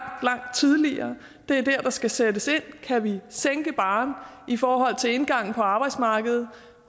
tidligere det er der der skal sættes ind kan vi sænke barren i forhold til indgangen på arbejdsmarkedet